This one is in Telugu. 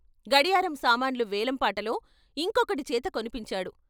గడియారం సామాన్లు వేలం పాటలో ఇంకొకడిచేత కొనిపించాడు.